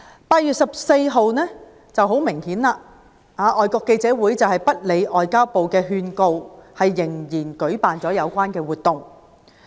8月14日，外國記者會不理會外交部的勸告，仍然舉辦了有關活動。